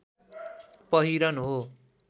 पहिरन हो